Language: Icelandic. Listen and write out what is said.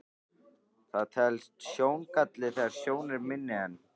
Það telst sjóngalli þegar sjón er minni en